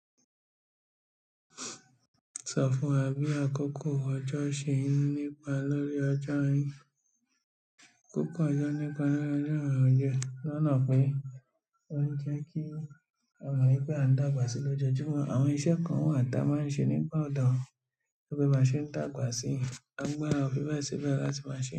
Sọ̀fọ̀ àbí àkókò ọjọ́ ṣe nípa lórí ọjọ́ orí. Kókó ọjọ́ nípa lórí ọjọ́ àránjẹ́, lọ́nà pé ó ń jẹ́ kí a mọ̀ wípé a ń dàgbà sí lójoójúmọ́. Àwọn iṣẹ́ kan wà tí a máa ń ṣe nígbà ọ̀dọ́ tó bá ṣe ń dàgbà sí. Agbára o fíbẹ́ẹ̀ sí bẹ́ẹ̀ láti máa ṣe.